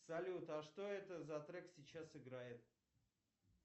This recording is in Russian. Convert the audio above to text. салют а что это за трек сейчас играет